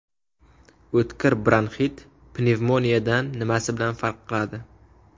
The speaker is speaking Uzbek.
O‘tkir bronxit pnevmoniyadan nimasi bilan farq qiladi?.